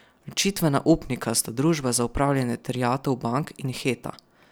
Ločitvena upnika sta Družba za upravljanje terjatev bank in Heta.